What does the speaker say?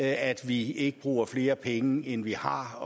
at vi ikke bruger flere penge end vi har